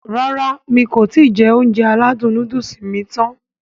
Rárá mi kò ti jẹ Ounjẹ aládùn nóódùsì mi tán